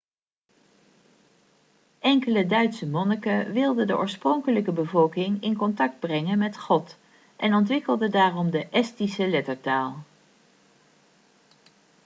enkele duitse monniken wilden de oorspronkelijke bevolking in contact brengen met god en ontwikkelde daarom de estische lettertaal